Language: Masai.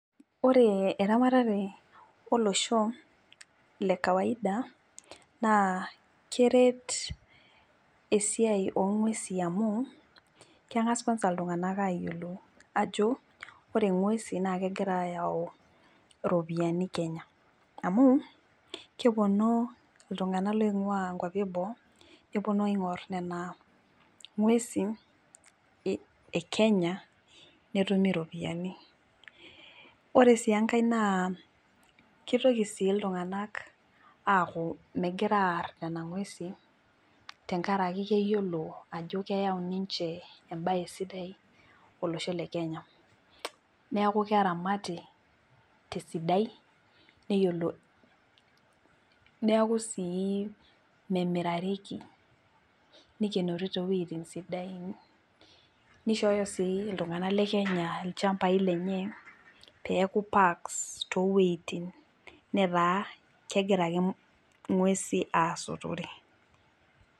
Ore eramatare olosho lekawaida naa keret esiai ongwesi amu kengas kwansa iltunganak ayiolou ajo ore ngwesin naa kegira ayau iropiyiani kenya amu keponu iltungank loingwaa nkwapi eboo neponu aingor nena ngwesin ekenya netumi iropiyiani. Ore sii enkae naa aaku sii iltunganak aaku megira aar nena ngwesin tenkaraki keyiolo ajo keyau ninche embae sidai olosho leKenya , neeku keramati tesidai neyiolo, neeku sii memirareki ,nikienori toowueti sidan , nishooyo sii iltunganak lekenya ilchambai lenye peku parks toowuetin netaa kegira ingwesi asotore.